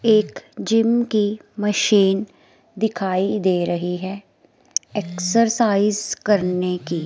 एक जिम की मशीन दिखाई दे रही है एक्सरसाइज करने की।